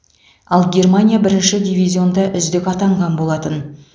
ал германия бірінші дивизионда үздік атанған болатын